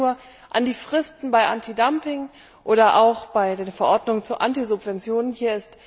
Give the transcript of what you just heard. Man denke nur an die Fristen bei Antidumping oder auch bei den Verordnungen über Antisubventionsinstrumente.